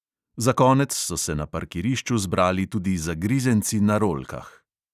Za konec so se na parkirišču zbrali tudi zagrizenci na rolkah.